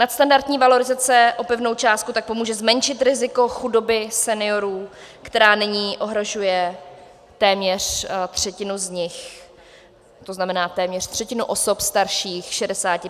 Nadstandardní valorizace o pevnou částku tak pomůže zmenšit riziko chudoby seniorů, která nyní ohrožuje téměř třetinu z nich, to znamená téměř třetinu osob starších 65 let.